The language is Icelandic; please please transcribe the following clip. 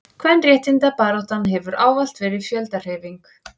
kvenréttindabaráttan hefur ávallt verið fjöldahreyfing